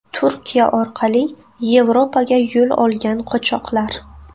Turkiya orqali Yevropaga yo‘l olgan qochoqlar.